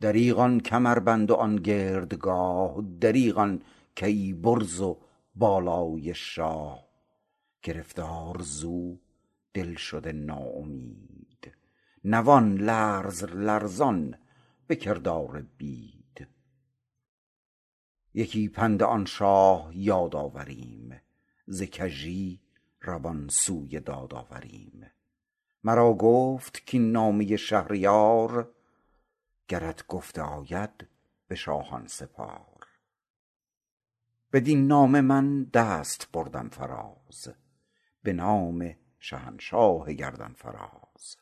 دریغ آن کمربند و آن گردگاه دریغ آن کیی برز و بالای شاه گرفتار ز او دل شده نا امید نوان لرز لرزان به کردار بید یکی پند آن شاه یاد آوریم ز کژی روان سوی داد آوریم مرا گفت کاین نامه شهریار گرت گفته آید به شاهان سپار بدین نامه من دست بردم فراز به نام شهنشاه گردن فراز